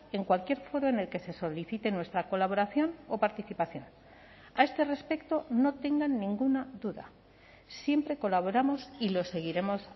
en cualquier foro en el que se solicite nuestra colaboración o participación a este respecto no tengan ninguna duda siempre colaboramos y lo seguiremos